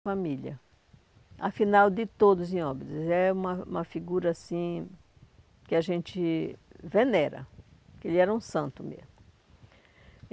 A família, afinal de todos em óbidos, é uma uma figura assim que a gente venera, que ele era um santo mesmo.